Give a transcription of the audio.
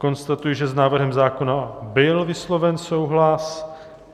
Konstatuji, že s návrhem zákona byl vysloven souhlas.